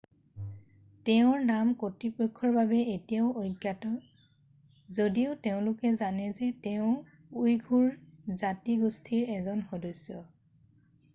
তেওঁৰ নাম কৰ্তৃপক্ষৰ বাবে এতিয়াও অজ্ঞাত যদিও তেওঁলোকে জানে যে তেওঁ উইঘুৰ জাতি গোষ্ঠিৰ এজন সদস্য